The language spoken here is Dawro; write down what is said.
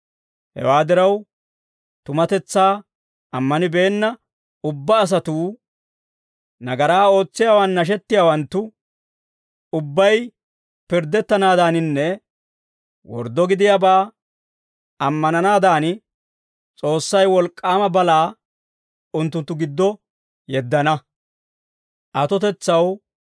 Hewaa diraw, tumatetsaa ammanibeenna ubbaa asatuu, nagaraa ootsiyaawaan nashettiyaawanttu ubbay pirddettanaadaaninne worddo gidiyaabaa ammananaadan, S'oossay wolk'k'aama balaa unttunttu giddo yeddana.